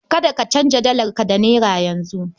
Kada ka canza dalarka da naira yanzu.